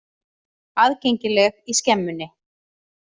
Aðgengileg í Skemmunni.